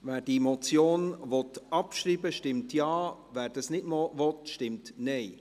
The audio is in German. Wer diese Motion abschreiben will, stimmt Ja, wer dies nicht will, stimmt Nein.